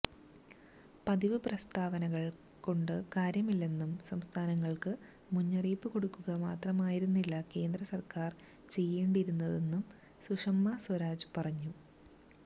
പതിവ് പ്രസ്താവനകള് കൊണ്ട് കാര്യമില്ലെന്നും സംസ്ഥാനങ്ങള്ക്ക് മുന്നറിയിപ്പ് കൊടുക്കുക മാത്രമായിരുന്നില്ല കേന്ദ്രസര്ക്കാര് ചെയ്യേണ്ടിയിരുന്നതെന്നും സുഷമ സ്വരാജ് പറഞ്ഞു